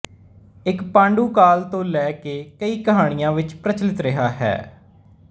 ਇਹ ਪਾਂਡੂ ਕਾਲ ਤੋਂ ਲੈ ਕੇ ਕਈ ਕਹਾਣੀਆਂ ਵਿਚ ਪ੍ਰਚਲਿਤ ਰਿਹਾ ਹੈ